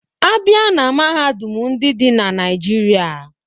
A bịa na mahadum ndị dị na Naịjirịa